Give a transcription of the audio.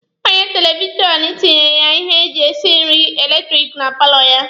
Onye eletirishanụ tinyere ya ihe eji esi nri eletiriki na paalọ ya.